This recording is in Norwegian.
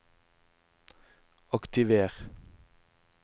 aktiver